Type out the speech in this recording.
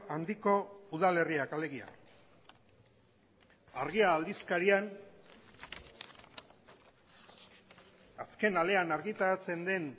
handiko udalerriak alegia argia aldizkarian azken alean argitaratzen den